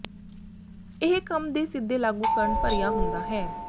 ਇਹ ਕੰਮ ਦੇ ਸਿੱਧੇ ਲਾਗੂ ਕਰਨ ਭਰਿਆ ਹੁੰਦਾ ਹੈ